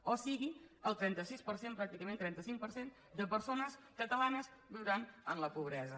o sigui el trenta sis per cent pràcticament trenta cinc per cent de persones catalanes viuran en la pobresa